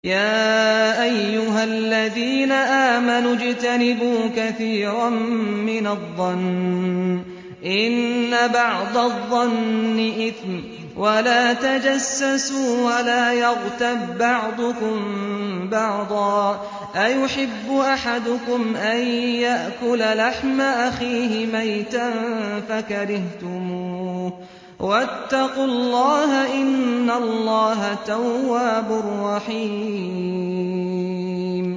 يَا أَيُّهَا الَّذِينَ آمَنُوا اجْتَنِبُوا كَثِيرًا مِّنَ الظَّنِّ إِنَّ بَعْضَ الظَّنِّ إِثْمٌ ۖ وَلَا تَجَسَّسُوا وَلَا يَغْتَب بَّعْضُكُم بَعْضًا ۚ أَيُحِبُّ أَحَدُكُمْ أَن يَأْكُلَ لَحْمَ أَخِيهِ مَيْتًا فَكَرِهْتُمُوهُ ۚ وَاتَّقُوا اللَّهَ ۚ إِنَّ اللَّهَ تَوَّابٌ رَّحِيمٌ